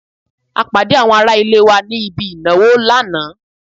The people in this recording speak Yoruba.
A pàdé àwọn ará ilé wa ní ibi ìnáwó lánàá